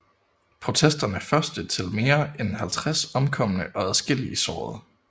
Protesterne første til mere end 50 omkomne og adskillige sårede